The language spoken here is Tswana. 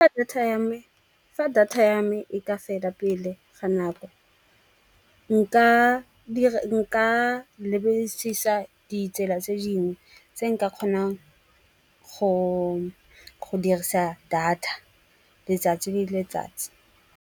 Fa data ya me e ka fela pele ga nako nka lebedisisa ditsela tse dingwe tse nka kgonang go dirisa data letsatsi le letsatsi.